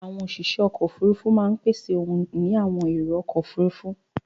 Àwọn òṣìṣẹ́ ọkọ̀-òfurufú máa ń pèsè ohun ìní àwọn èrò-ọkọ̀ òfurufú.